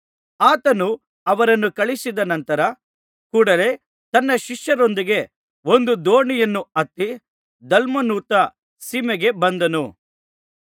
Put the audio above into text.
ಆತನು ಅವರನ್ನು ಕಳುಹಿಸಿದ ನಂತರ ಕೂಡಲೆ ತನ್ನ ಶಿಷ್ಯರೊಂದಿಗೆ ಒಂದು ದೋಣಿಯನ್ನು ಹತ್ತಿ ದಲ್ಮನೂಥ ಸೀಮೆಗೆ ಬಂದನು